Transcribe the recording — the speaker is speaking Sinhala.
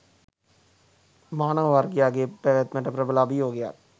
මානව වර්ගයාගේ පැවැත්මට ප්‍රබල අභියෝගයක්